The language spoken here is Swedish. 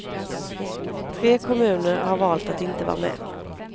Tre kommuner har valt att inte vara med.